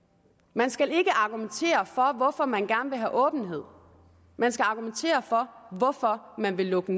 man skal ikke argumentere for hvorfor man gerne vil have åbenhed man skal argumentere for hvorfor man vil lukke